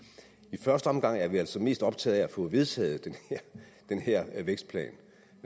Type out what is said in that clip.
at i første omgang er vi altså mest optaget af at få vedtaget den her vækstplan